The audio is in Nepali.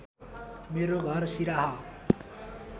मेरो घर सिराहा